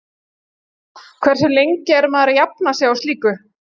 Hversu lengi er maður að jafna sig á slíku?